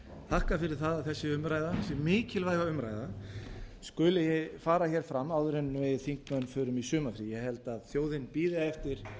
þakka fyrir það að þessi umræða þessi mikilvæga umræða skuli fara her fram áður en við þingmenn förum í sumarfrí ég held að þjóðin bíði eftir